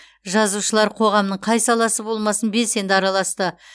жазушылар қоғамның қай саласы болмасын белсенді араласты